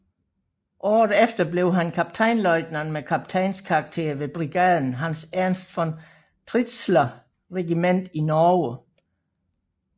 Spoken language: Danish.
Året efter blev han kaptajnløjtnant med kaptajns karakter ved brigader Hans Ernst von Tritzschler regiment i Norge